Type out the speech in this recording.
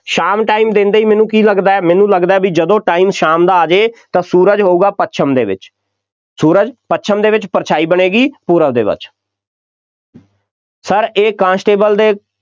ਸ਼ਾਮ time ਦਿੰਦੇ ਹੀ ਮੈਨੂੰ ਕੀ ਲੱਗਦੇ, ਮੈਨੂੰ ਲੱਗਦੇ ਬਈ ਜਦੋਂਂ time ਸ਼ਾਮ ਦਾ ਆ ਜਾਏ, ਤਾਂ ਸੂਰਜ ਹੋਊਗਾ ਪੱਛਮ ਦੇ ਵਿੱਚ, ਸੂਰਜ ਪੱਛਮ ਦੇ ਵਿੱਚ, ਪਰਛਾਈ ਬਣੇਗੀ ਪੂਰਬ ਦੇ ਵਿੱਚ sir ਇਹ constable ਦੇ